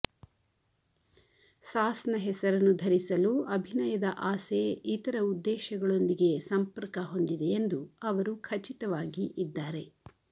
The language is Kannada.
ಸಾಸ್ ನ ಹೆಸರನ್ನು ಧರಿಸಲು ಅಭಿನಯದ ಆಸೆ ಇತರ ಉದ್ದೇಶಗಳೊಂದಿಗೆ ಸಂಪರ್ಕ ಹೊಂದಿದೆಯೆಂದು ಅವರು ಖಚಿತವಾಗಿ ಇದ್ದಾರೆ